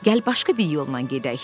Gəl başqa bir yolla gedək.